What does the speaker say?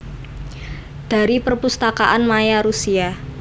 Dari Perpustakaan maya Rusia